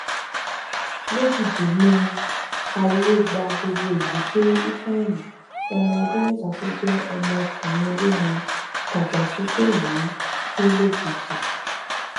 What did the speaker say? lójijì ní ariwo gba gbogbo ìlú pé ifeanyi ọmọ ọdún mẹta tó jẹ ọmọ ọkùnrin olórin tajàsùfèé yìí kú lójijì